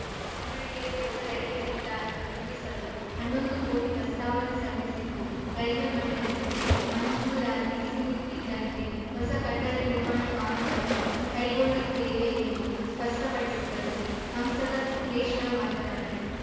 ದಾವಣಗೆರೆ ಹೊಸ ರೈಲ್ವೆ ನಿಲ್ದಾಣ ನಿರ್ಮಿಸಲು ಹನ್ನೊಂದು ಕೋಟಿ ಪ್ರಸ್ತಾವನೆ ಸಲ್ಲಿಸಿದ್ದು ರೈಲ್ವೆ ಮಂಡಳಿ ಮಂಜೂರಾತಿ ಸಿಗುತ್ತಿದ್ದಂತೆ ಹೊಸ ಕಟ್ಟಡ ನಿರ್ಮಾಣ ಕಾಮಗಾರಿ ಕೈಗೊಳ್ಳುತ್ತೇವೆ ಎಂದು ಸ್ಪಷ್ಟಪಡಿಸಿದರು ಸಂಸದ ಸಿದ್ದೇಶ್ವರ ಮಾತನಾಡಿ